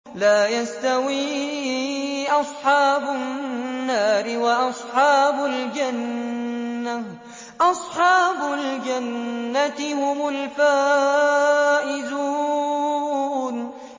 لَا يَسْتَوِي أَصْحَابُ النَّارِ وَأَصْحَابُ الْجَنَّةِ ۚ أَصْحَابُ الْجَنَّةِ هُمُ الْفَائِزُونَ